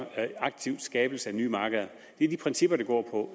aktiv skabelse af nye markeder det er de principper det går på